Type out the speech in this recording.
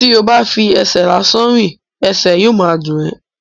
tí o bá n fi ẹsẹ̀ lásán rìn, ẹsẹ̀ yóò ma dùn ẹ́.